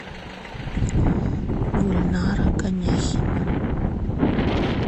гульнара коняхина